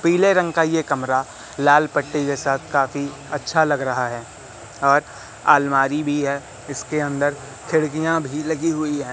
पीले रंग का ये कमरा लाल पट्टे जैसा काफी अच्छा लग रहा है और आलमारी भी है इसके अंदर खिड़कियाँ भी लगी हुई हैं।